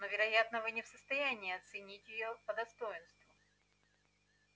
но вероятно вы не в состоянии оценить её по достоинству